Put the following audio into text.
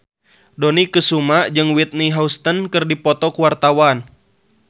Dony Kesuma jeung Whitney Houston keur dipoto ku wartawan